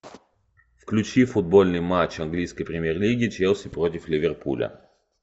включи футбольный матч английской премьер лиги челси против ливерпуля